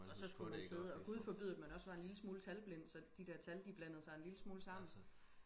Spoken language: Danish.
og så skulle man sidde og gud forbyde at man også var en lille smule talblind så de der tal de blandede sig en lille smule sammen